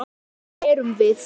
Hver erum við?